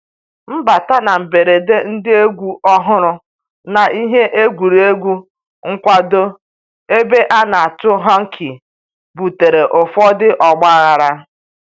Mbata na mberede ndị egwu ọhụrụ na ihe egwuregwu nkwado ebe a na-atụ hockey butere ụfọdụ ọgbaghara